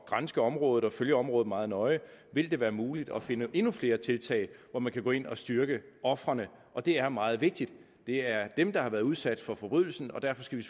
granske området og følge området meget nøje vil det være muligt at finde endnu flere tiltag hvor man kan gå ind og styrke ofrene og det er meget vigtigt det er dem der har været udsat for en forbrydelse og derfor skal